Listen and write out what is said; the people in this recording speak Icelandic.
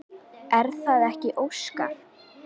Er það ekki Óskar?